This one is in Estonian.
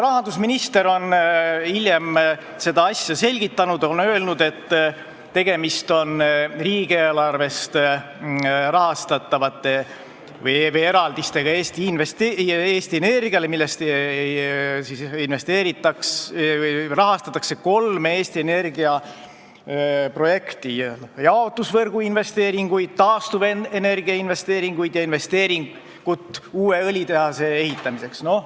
Rahandusminister on hiljem seda asja selgitanud ja öelnud, et tegemist on riigieelarve eraldistega Eesti Energiale, millest rahastatakse kolme Eesti Energia projekti: jaotusvõrgu investeeringud, taastuvenergia investeeringud ja investeering uue õlitehase ehitamiseks.